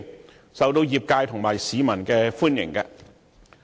建議受到業界及市民歡迎。